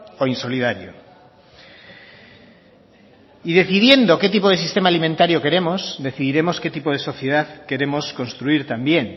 o insolidario y decidiendo qué tipo de sistema alimentario queremos decidiremos qué tipo de sociedad queremos construir también